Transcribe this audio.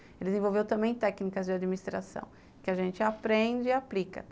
Ele desenvolveu também técnicas de administração, que a gente aprende e aplica.